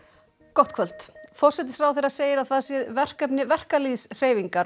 gott kvöld forsætisráðherra segir að það sé verkefni verkalýðshreyfingar